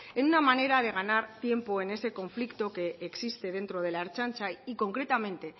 en una manera de ganar tiempo en ese conflicto que existe dentro de la ertzaintza y concretamente